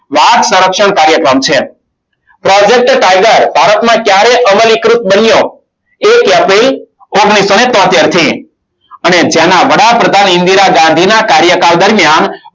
વાઘ સંરક્ષણ કાર્યક્રમ છે. project tiger ભારતમાં ક્યારે અમલીકૃત બન્યો. એક april ઓગણીસો ને તોતેર થી અને જેના વડાપ્રધાન ઇન્દિરા ગાંધી ના કાર્યકાળ દરમિયાન